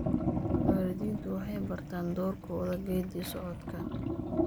Waalidiintu waxay bartaan doorkooda geeddi-socodka.